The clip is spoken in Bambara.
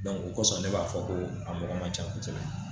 o kɔsɔn ne b'a fɔ ko a mɔgɔ man can kosɛbɛ.